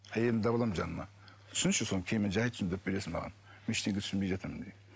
әйелімді алып аламын жаныма түсінші соны кейін мені жәй түсіндіріп бересің маған мен ештеңе түсінбей жатырмын деймін